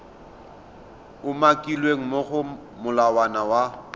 umakilweng mo go molawana wa